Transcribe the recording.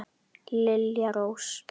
Lilja Rós.